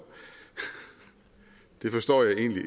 det forstår jeg egentlig